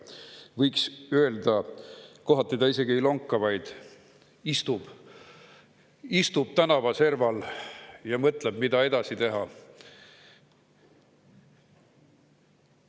Võiks öelda, et kohati ta isegi ei lonka, vaid istub tänavaserval ja mõtleb, mida edasi teha.